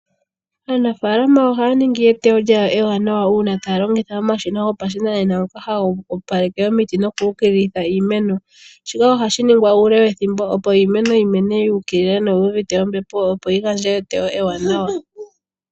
Aanafaalama ohaya ningi eteyo lyawo ewanawa uuna taya longitha omashina gopashinanena ngoka haga opaleke omiti noku ukililitha iimeno. Shika ohashi ningwa uule wethimbo, opo iimeno yi mene yu ukilila noyi uvite ombepo, opo yi gandje eteyo ewaanawa.